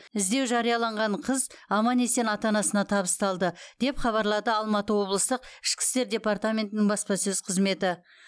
іздеу жарияланған қыз аман есен ата анасына табысталды деп хабарлады алматы облыстық ішкі істер департаментінің баспасөз қызметі